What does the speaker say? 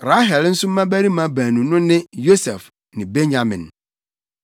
Rahel nso mmabarima baanu no ne Yosef ne Benyamin.